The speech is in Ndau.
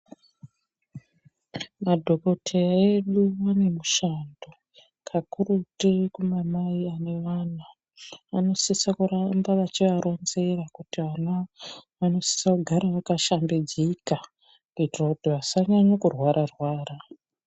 Madhokodheya edu anemushando kakurutu kumamai ane mwana anosisa kuramba achiaronzera kuti vana vanosisa kugara vakashambidzika kuitira kuti vasanyanya kurwara rwara.